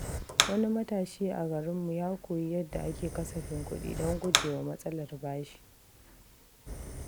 Wani matashi a garinmu ya koyi yadda ake kasafin kuɗi don guje wa matsalar bashi.